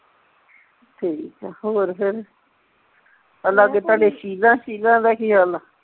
ਠੀਕ ਆ ਹੋਰ ਫਿਰ ਆ ਲਾਗੇ ਤੁਹਾਡੇ ਸ਼ੀਲਾ ਦਾ ਕੀ ਹਾਲ ਆ